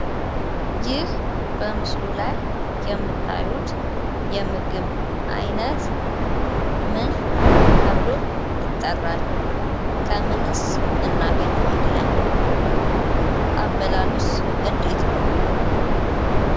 ይህ በምስሉ ላይየምታዩት የምግብ አይነት ምን ተብሎ ይጠራል? ከምንስ እናገኘዋለን? አበላሉስ እንዴት ነው?